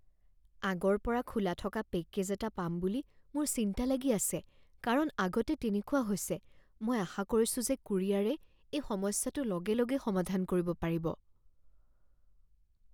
আগৰ পৰা খোলা থকা পেকেজ এটা পাম বুলি মোৰ চিন্তা লাগি আছে কাৰণ আগতে তেনেকুৱা হৈছে, মই আশা কৰিছোঁ যে কুৰিয়াৰে এই সমস্যাটো লগে লগেই সমাধান কৰিব পাৰিব।